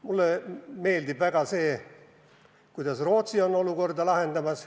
Mulle meeldib väga see, kuidas Rootsi on olukorda lahendamas.